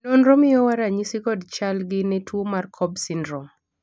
nonro miyowa ranyisi kod chal gi ne tuo mar cobb syndrome